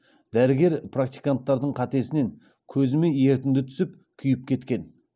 дәрігер практиканттардың қатесінен көзіме ерітінді түсіп күйіп кеткен